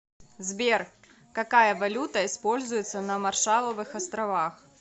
сбер какая валюта используется на маршалловых островах